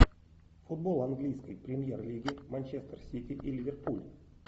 футбол английской премьер лиги манчестер сити и ливерпуль